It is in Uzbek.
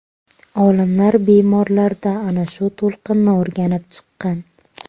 Olimlar bemorlarda ana shu to‘lqinni o‘rganib chiqqan.